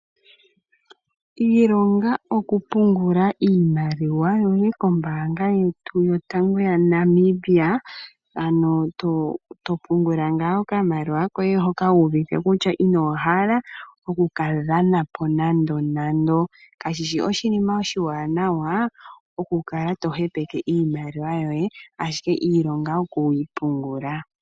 Iilonga okupungula iimaliwa yoye kombaanga yotango yaNamibia ano topungula okamaliwa koye hoka wuuvite kutya inohala oku kadhanapo nandonando kashishi oshinima oshiwana okukala tohepeke oshimaliwa shoye ashike ilonga okuyi pungula.